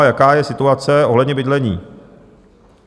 A jaká je situace ohledně bydlení?